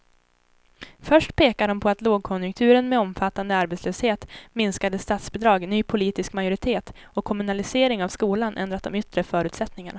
Först pekar de på att lågkonjunkturen med omfattande arbetslöshet, minskade statsbidrag, ny politisk majoritet och kommunalisering av skolan ändrat de yttre förutsättningarna.